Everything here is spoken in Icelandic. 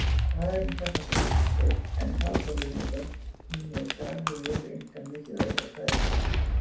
Karen Kjartansdóttir: En talþjálfun er börnum með skarð í vör einkar mikilvæg er það ekki?